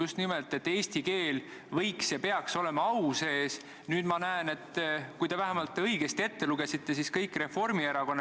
Komisjonis sellest, kui palju see neile maksma võiks minna, juttu ei olnud, aga nende ülesanne on sellega viie aasta jooksul hakkama saada.